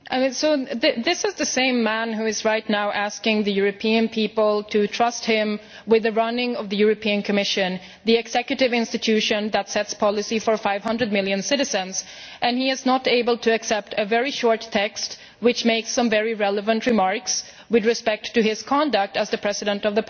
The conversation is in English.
This is the same man who is now asking the European people to trust him with the running of the Commission the executive institution that sets policy for 500 million citizens but who is not able to accept a very short text which makes some very relevant remarks with respect to his conduct as the President of Parliament.